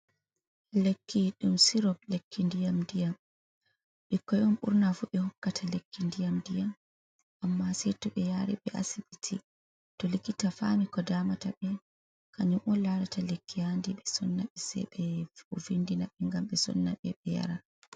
Lekki ɗum sirop lekki ndiyam-ndiyam. Ɓikkon on ɓurna fu ɓe hokkata lekki ndiyam-ndiyam amma sei to ɓe yaari ɓe asibiti to likita fami ko damata ɓe kanyum on larata lekki haandi ɓe sonnaɓe. Sei ɓe vindinaɓe ngam ɓe sonna ɓe, ɓe yara.